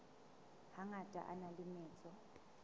hangata a na le metso